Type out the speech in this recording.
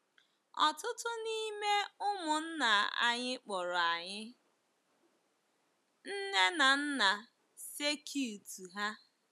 Ọtụtụ n’ime ụmụnna anyị kpọrọ anyị nne na nna circuit ha.